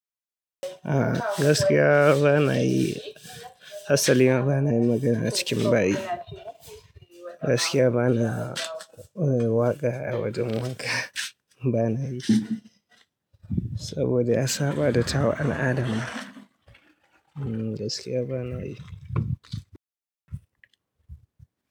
A'a, gaskiya ba na yi, asali ma ba na yi magana a cikin bayi. Gaskiya ba na waƙa a wajen wanka, ba na yi saboda ya saba da tawa al'adan. Hmm, gaskiya ba na yi.